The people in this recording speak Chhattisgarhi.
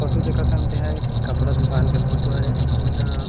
फोटो दिखत हन तेहा एक कपड़ा दुकान के फोटो हरे अऊ इहाँ--